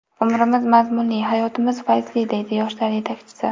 Umrimiz mazmunli, hayotimiz fayzli”, deydi Yoshlar yetakchisi.